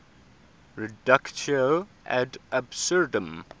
reductio ad absurdum